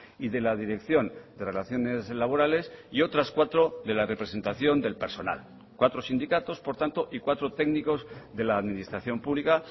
y de la dirección de relaciones laborales y otras cuatro de la representación del personal cuatro sindicatos por tanto y cuatro técnicos de la administración pública